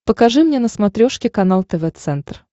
покажи мне на смотрешке канал тв центр